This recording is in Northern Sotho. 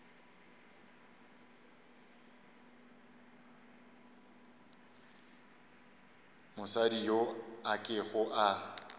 mosadi yo a kego a